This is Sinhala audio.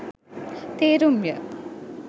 තේරුම් ය.